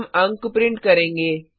हम अंक प्रिंट करेंगे